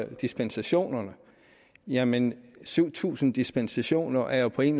dispensationerne jamen syv tusind dispensationer er jo på en